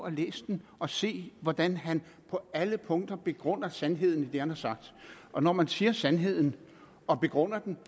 at læse den og se hvordan han på alle punkter begrunder sandheden i det han har sagt og når man siger sandheden og begrunder den